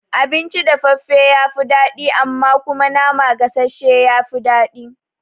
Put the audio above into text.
Abinci dafaffafe ya fi daɗi amma kuma nama gasashshe ya fi daɗi